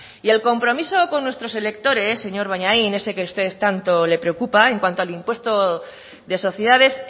y el compromiso con nuestros electores señor bollain ese que a ustedes tanto les preocupa en cuanto al impuesto de sociedades